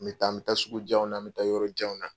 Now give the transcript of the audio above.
N bɛ taa n bɛ taa sugu janw na n bɛ taa yɔrɔ janw na.